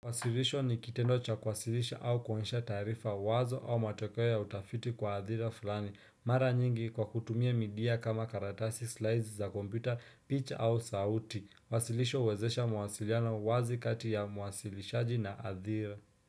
Wasilisho ni kitendo cha kuwasilisha au kuonyesha taarifa wazo au matokeo ya utafiti kwa adhira fulani. Mara nyingi kwa kutumia midia kama karatasi, slides za kompyuta, picha au sauti. Wasilisho uwezesha mawasiliano wazi kati ya mwasilishaji na adhira.